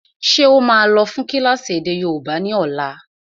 Ṣé ó máa lọ fún kílásì èdè yóòbá ni ọ̀la?